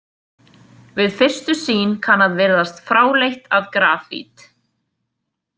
Við fyrstu sýn kann að virðast fráleitt að grafít.